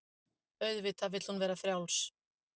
Auðvitað vill hún vera frjáls.